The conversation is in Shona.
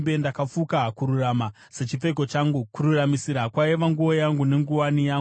Ndakafuka kururama sechipfeko changu; kururamisira kwaiva nguo yangu nenguwani yangu.